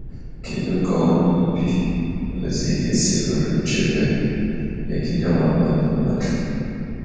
Kedu ka ọrụ ubi ozi ga esi bụrụ nchebe megide mwakpo ndị mmadụ?